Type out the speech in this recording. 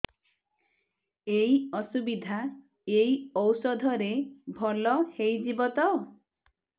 ଏଇ ଅସୁବିଧା ଏଇ ଔଷଧ ରେ ଭଲ ହେଇଯିବ ତ